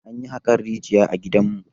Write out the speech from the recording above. Anyi haƙan rijiya a gidanmu.